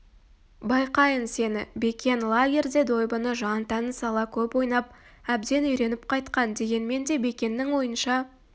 байқайын сені бекен лагерьде дойбыны жан-тәнін сала көп ойнап әбден үйреніп қайтқан дегенмен де бекеннің ойынша